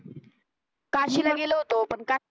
काशीला गेलो होतो पण काय